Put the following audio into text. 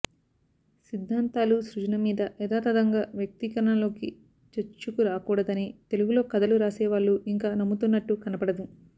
సిధ్ధాంతాలు సృజనమీద యధాతధంగా వ్యక్తీకరణలోకి చొచ్చుకురాకూడదని తెలుగులో కధలు రాసే వాళ్ళు ఇంకా నమ్ముతున్నట్టు కనబడదు